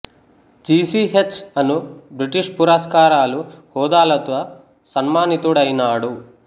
G C H అను British పురస్కారాలు హోదాలతో సన్మానితుడైనాడు